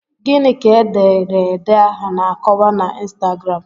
Gịnị ka ederede ahụ na-akọwa na ịnstagram?